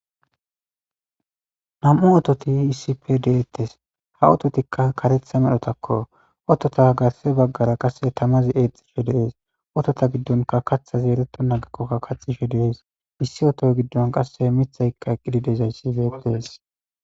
nam7u oototi issi pe deettes ha ototikka karetha medhotakko otota gasse baggara qasse tamazi eexxishe deees otota giddonka katha zeeleto nagikkokka kaxishe deees issi oto giddon qasse mithaykka eqqidi dezayssi beetees